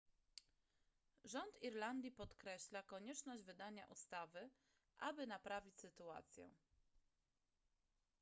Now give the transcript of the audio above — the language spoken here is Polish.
rząd irlandii podkreśla konieczność wydania ustawy aby naprawić sytuację